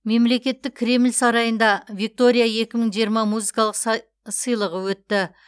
мемлекеттік кремль сарайында виктория екі мың жиырма музыкалық сыйлығы өтті